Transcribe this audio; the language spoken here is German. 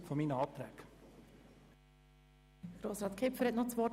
Kipfer wünscht das Wort;